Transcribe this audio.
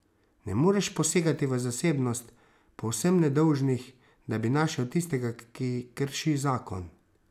Ne moreš posegati v zasebnost povsem nedolžnih, da bi našel tistega, ki krši zakon.